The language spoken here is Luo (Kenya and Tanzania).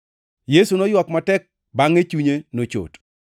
Yesu noywak matek bangʼe chunye nochot.